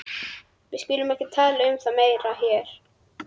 Við skulum ekki tala um það meira hér.